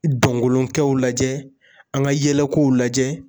Donkolonkɛw lajɛ; an ka yɛlɛkow lajɛ.